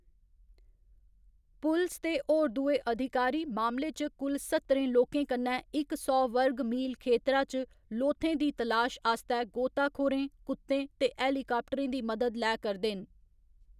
पुलस ते होर दुए अधिकारी मामले च कुल सत्तरें लोकें कन्नै इक सौ वर्ग मील खेतरा च लोथें दी तलाश आस्तै गोताखोरें, कुत्तें ते हेलीकाप्टरें दी मदद लै करदे न।